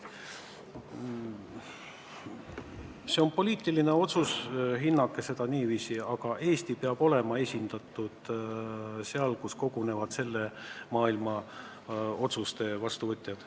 See on poliitiline otsus, hinnake seda niiviisi, et Eesti peab olema esindatud foorumil, kus kogunevad selle maailma otsuste vastuvõtjad.